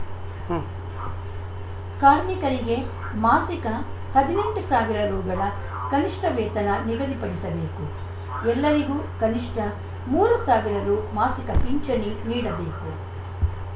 ಉಂ ಕಾರ್ಮಿಕರಿಗೆ ಮಾಸಿಕ ಹದಿನೆಂಟು ಸಾವಿರ ರುಗಳ ಕನಿಷ್ಟವೇತನ ನಿಗದಿಪಡಿಸಬೇಕು ಎಲ್ಲರಿಗೂ ಕನಿಷ್ಟ ಮೂರು ಸಾವಿರ ರು ಮಾಸಿಕ ಪಿಂಚಣಿ ನೀಡಬೇಕು